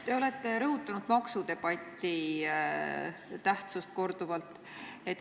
Te olete korduvalt rõhutanud maksudebatti tähtsust.